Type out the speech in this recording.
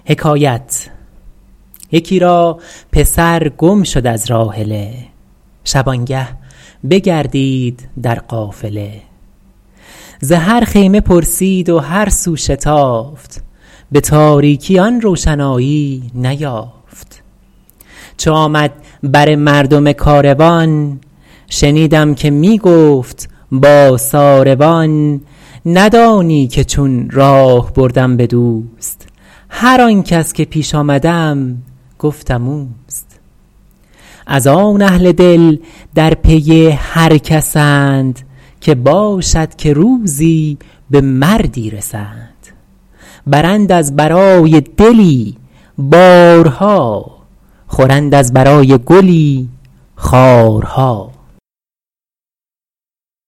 یکی را پسر گم شد از راحله شبانگه بگردید در قافله ز هر خیمه پرسید و هر سو شتافت به تاریکی آن روشنایی بیافت چو آمد بر مردم کاروان شنیدم که می گفت با ساروان ندانی که چون راه بردم به دوست هر آن کس که پیش آمدم گفتم اوست از آن اهل دل در پی هر کسند که باشد که روزی به مردی رسند برند از برای دلی بارها خورند از برای گلی خارها